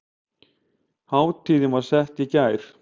Hátíðin var sett í gær